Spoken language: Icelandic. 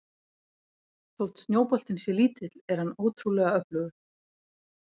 Þótt snjóboltinn sé lítill er hann ótrúlega öflugur.